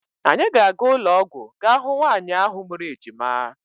Anyị ga-aga ụlọọgwụ ga hụ nwaanyị ahụ mụrụ ejima.